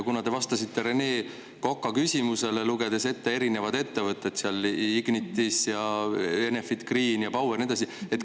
Ja te lugesite Rene Koka küsimusele vastates ette erinevad ettevõtted – seal olid Ignitis ja Enefit Green ja Power ja nii edasi.